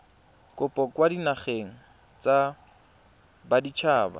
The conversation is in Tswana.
kopo kwa dinageng tsa baditshaba